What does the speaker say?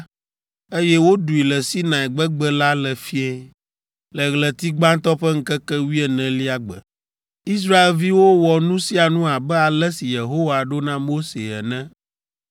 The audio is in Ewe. eye woɖui le Sinai gbegbe la le fiẽ, le ɣleti gbãtɔ ƒe ŋkeke wuienelia gbe. Israelviwo wɔ nu sia nu abe ale si Yehowa ɖo na Mose ene.